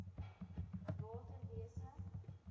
waterwese